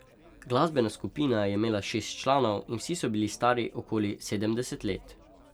Glasbena skupina je imela šest članov in vsi so bili stari okoli sedemdeset let.